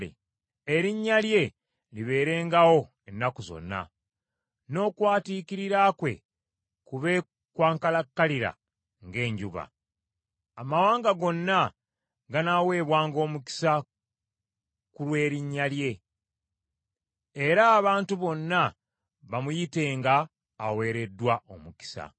Erinnya lye libeerengawo ennaku zonna, n’okwatiikirira kwe kube kwa nkalakkalira ng’enjuba. Amawanga gonna ganaaweebwanga omukisa ku lu lw’erinnya lye, era abantu bonna bamuyitenga aweereddwa omukisa.